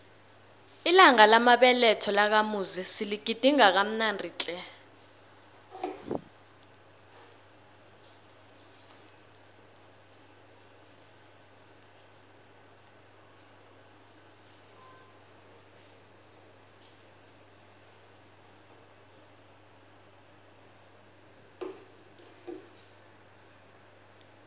ilanga lamabeletho lakamuzi siligidinge kamnandi tle